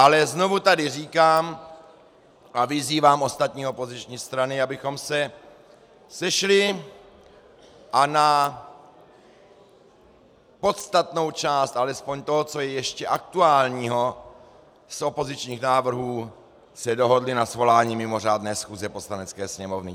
Ale znovu tady říkám a vyzývám ostatní opoziční strany, abychom se sešli a na podstatnou část alespoň toho, co je ještě aktuálního z opozičních návrhů, se dohodli na svolání mimořádné schůze Poslanecké sněmovny.